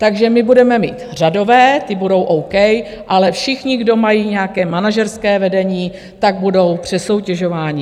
Takže my budeme mít řadové, ti budou OK, ale všichni, kdo mají nějaké manažerské vedení, tak budou přesoutěžováni.